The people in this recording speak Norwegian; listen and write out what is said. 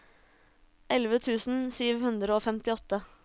elleve tusen sju hundre og femtiåtte